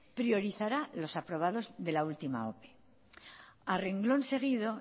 priorizará los aprobados de la última ope a renglón seguido